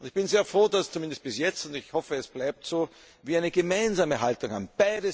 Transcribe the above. Ich bin sehr froh, dass wir zumindest bis jetzt und ich hoffe, es bleibt so eine gemeinsame Haltung haben.